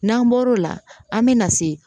N'an bɔr'o la an me na se